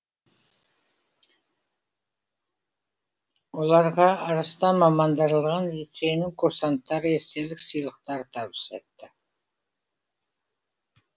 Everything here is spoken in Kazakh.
оларға арыстан мамандырылған лицейінің курсанттары естелік сыйлықтарды табыс етті